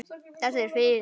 Þetta er fis.